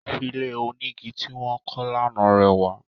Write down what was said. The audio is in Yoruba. Ilé onígi ti wọ́n kọ́ lánà rẹwà